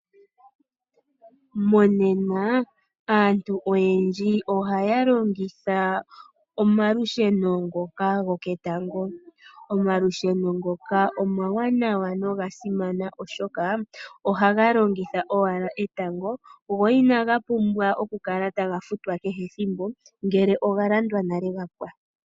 Monena aantu oyendji ohaya longitha omalusheno ngoka goketango. Omalusheno ngoka omawanawa nogasimana oshoka ohaga longitha owala etango go inaga pumbwa oku kala taga futwa kehe ethimbo ngele oga landwa nale gapwa.